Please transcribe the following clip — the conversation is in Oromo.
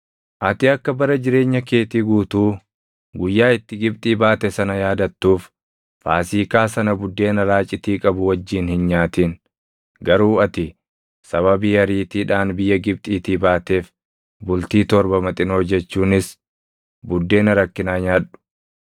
Ati akka bara jireenya keetii guutuu guyyaa itti Gibxii baate sana yaadattuuf Faasiikaa sana buddeena raacitii qabu wajjin hin nyaatin; garuu ati sababii ariitiidhaan biyya Gibxiitii baateef bultii torba maxinoo jechuunis buddeena rakkinaa nyaadhu.